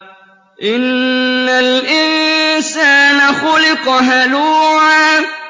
۞ إِنَّ الْإِنسَانَ خُلِقَ هَلُوعًا